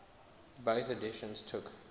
bofh editions took